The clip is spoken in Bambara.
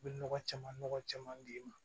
U bɛ nɔgɔ caman nɔgɔ caman d'i ma